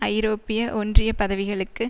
ஐரோப்பிய ஒன்றிய பதவிகளுக்கு